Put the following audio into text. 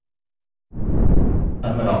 अब मैं वापस लॉगिन पेज पर जाऊँगा